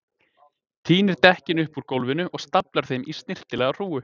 Tínir dekkin upp úr gólfinu og staflar þeim í snyrtilega hrúgu.